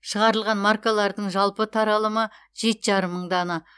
шығарылған маркалардың жалпы таралымы жеті жарым мың дана